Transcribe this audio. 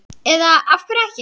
Eða af hverju ekki?